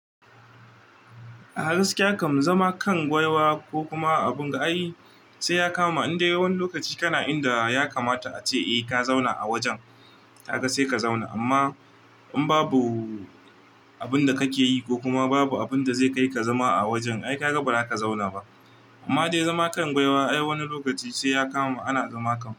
A gaskiya kam zama kan gwawa ko kuma abun ga ai sai ya kamani. Indai wani lokaci kana inda ya kamata a ce eh ka zauna a wajen, ka ga sai ka zauna. Amma in babu abin da kake yi ko kuma babu abin da zai kai ka zama a wajen, ai ka ga ba za ka zauna ba. Amma dai zama kan gwawa ai wani lokaci sai ya kama ana zama kam.